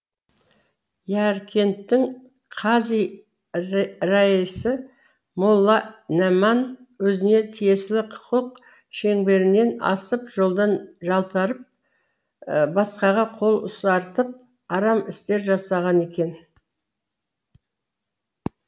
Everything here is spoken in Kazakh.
яркенттің қази раисі молла нәман өзіне тиесілі құқық шеңберінен асып жолдан жалтарып басқаға қол ұсартып арам істер жасаған екен